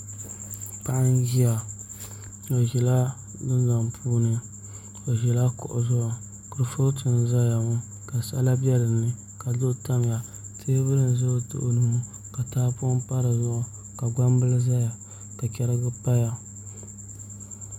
Paɣa n ʒiya o ʒila Dundoŋ puuni o ʒila kuɣu zuɣu kurifooti n ʒɛya ŋo ka sala bɛ dinni ka duɣu tamya teebuli n ʒɛ o tooni maa ka tahapoŋ pa dizuɣu ka gbambili ʒɛya ka chɛrigi paya